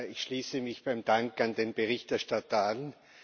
Ich schließe mich dem Dank an den Berichterstatter an.